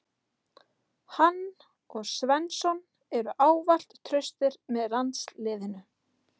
Hann og Svensson eru ávallt traustir með landsliðinu.